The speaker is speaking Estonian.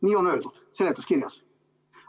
Nii on öeldud seletuskirjas.